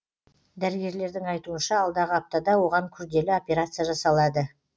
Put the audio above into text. дәрігерлердің айтуынша алдағы аптада оған күрделі операция жасалады